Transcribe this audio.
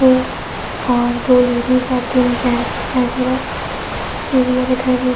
और दो लेडिस और तीन जेंट्स दिखाई दे रहे हैं। सीढ़ियां दिखाई दे रही --